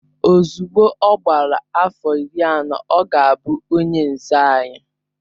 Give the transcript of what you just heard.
Ozugbo ọ gbara afọ iri anọ, ọ ga-abụ onye nze anyị